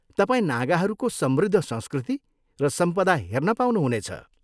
तपाईँ नागाहरूको समृद्ध संस्कृति र सम्पदा हेर्न पाउनु हुनेछ।